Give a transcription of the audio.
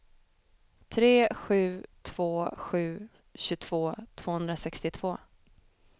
tre sju två sju tjugotvå tvåhundrasextiotvå